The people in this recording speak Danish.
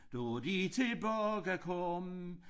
Da de tilbage kom